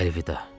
Əlvida.